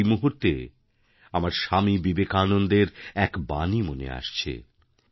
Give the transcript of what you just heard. আজ এই মুহূর্তে আমার স্বামী বিবেকানন্দর এক বাণী মনে আসছে